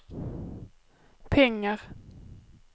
pengar